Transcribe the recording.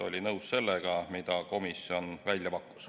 Oldi nõus sellega, mida komisjon välja pakkus.